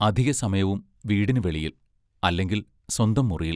അധികസമയവും വീടിനു വെളിയിൽ, അല്ലെങ്കിൽ സ്വന്തം മുറിയിൽ.